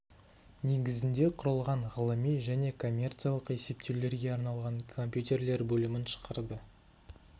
негізінде құрылған ғылыми және коммерциялық есептеулерге арналған компьютерлер бөлімін шығарды